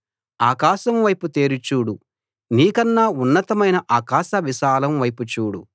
ఆకాశం వైపు తేరి చూడు నీ కన్నా ఉన్నతమైన ఆకాశ విశాలం వైపు చూడు